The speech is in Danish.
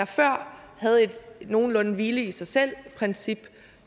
før havde et nogenlunde hvile i sig selv princip